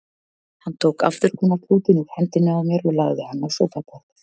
Hann tók afþurrkunarklútinn úr hendinni á mér og lagði hann á sófaborðið.